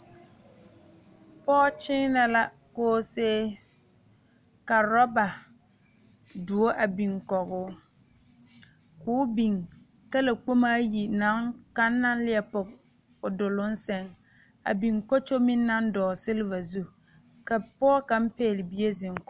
Pɔge kyeenɛ la koosee ka orɔba doɔ a biŋ kɔgoo ko o biŋ talakpommo ayi naŋ kaŋ naŋ leɛ pɔge o duluŋ seŋ a biŋ kɔkyo meŋ naŋ dɔgele seliva zu kanoɔɔ kaŋ pɛhle bie zeŋ kɔge o